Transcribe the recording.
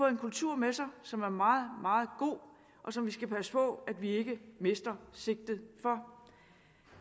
en kultur med sig som er meget meget god og som vi skal passe på at vi ikke mister sigtet for